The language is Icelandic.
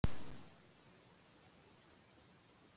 Hann þarf rækilega aðvörun.